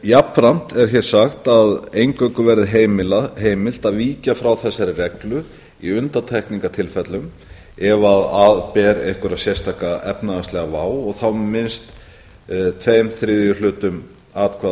jafnframt er hér sagt að eingöngu verði heimilt að víkja frá þessari reglu í undantekningartilfellum ef að ber einhverja sérstaka efnahagslega vá og þá með minnst tveir þriðju hlutum atkvæða á